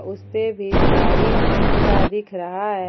उसपे भी झाड़ी सा दिख रहा है।